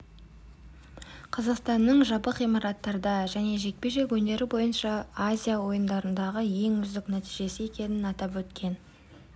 қазақстанның жабық ғимараттарда және жекпе-жек өнері бойынша азия ойындарындағы ең үздік нәтижесі екенін атап өткен